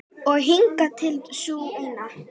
Og hingað til sú eina.